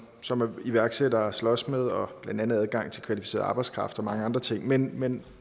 som iværksættere slås med blandt andet adgang til kvalificeret arbejdskraft og mange andre ting men men